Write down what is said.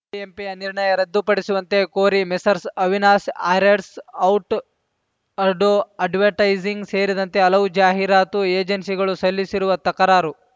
ಬಿಎಂಪಿಯ ನಿರ್ಣಯ ರದ್ದುಪಡಿಸುವಂತೆ ಕೋರಿ ಮೆಸರ್ಸ್‌ ಅವಿನಾಶಿ ಆ್ಯಡರ್ಸ್ ಔಟ್‌ ಅಡೋ ಅಡ್ವರ್ಟೈಸಿಂಗ್‌ ಸೇರಿದಂತೆ ಹಲವು ಜಾಹೀರಾತು ಏಜೆನ್ಸಿಗಳು ಸಲ್ಲಿಸಿರುವ ತಕರಾರು